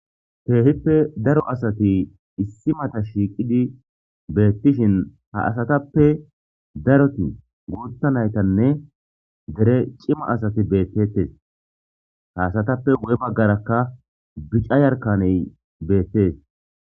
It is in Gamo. Keehippe daro asati issi mata shiiqidi beetishin ha asatappe daroti guuththa naytanne dere cima asati beetetees; ha asatappe guye baggaraka bica yarkaney beetees.